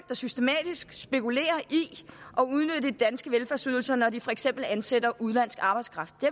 der systematisk spekulerer i at udnytte de danske velfærdsydelser når de for eksempel ansætter udenlandsk arbejdskraft det